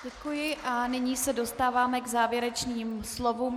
Děkuji a nyní se dostáváme k závěrečným slovům.